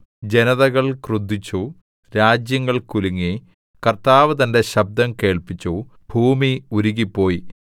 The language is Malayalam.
ജനതകൾ ക്രുദ്ധിച്ചു രാജ്യങ്ങൾ കുലുങ്ങി കർത്താവ് തന്റെ ശബ്ദം കേൾപ്പിച്ചു ഭൂമി ഉരുകിപ്പോയി